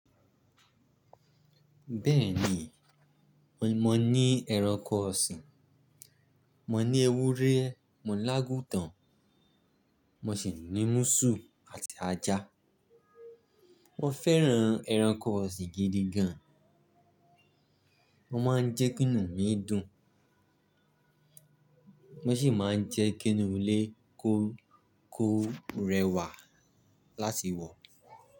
Bẹ́ẹ̀ni, mo ní ẹranko ọ̀sìn, mo ní ewúrẹ́, mo ní ágútàn, mo sì ní mùsù àti ajá. Mo fẹ́ran ẹranko ọ̀sìn gidi gan. Wọ́n máa ń jẹ́ kí inu mi dùn, wón sì máa ń jẹ́ kí inú ilé kó rẹwà láti wọ̀.